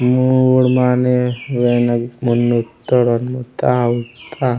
मुड़ माने बेनो मुने इत्तौड मुत्ते उत्ता।